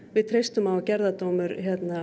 við treystum á að gerðardómur